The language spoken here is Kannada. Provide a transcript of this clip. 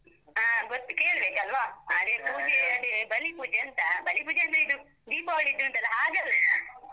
ಆ ಗೊತ್ತ್ ಕೇಳ್ಬೇಕಲ್ವ? ಅದೆ ಪೂಜೆ ಅದೇ ಬಲಿ ಪೂಜೆ ಅಂತಾ. ಬಲಿ ಪೂಜೆ ಅಂದ್ರೆ ಇದು ದೀಪಾವಳಿದುಂಟಲ್ಲ, ಹಾಗಲ್ಲ .